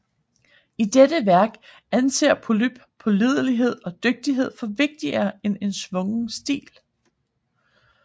I dette værk anser Polyb pålidelighed og dygtighed for vigtigere end en svungen stil